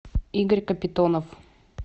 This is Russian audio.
игорь капитонов